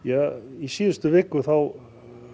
í síðustu viku þá